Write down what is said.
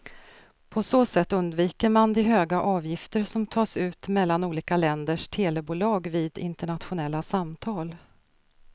På så sätt undviker man de höga avgifter som tas ut mellan olika länders telebolag vid internationella samtal.